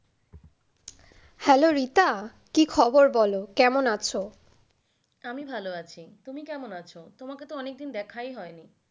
Hello Rita কি খবর বলো কেমন আছো? আমি ভালো আছি, তুমি কেমন আছো? তোমাকে তো অনেকদিন দেখাই হয়নি।